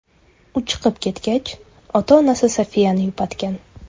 U chiqib ketgach, ota-onasi Sofiyani yupatgan.